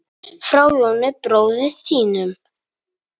Frá Jóni bróður þínum.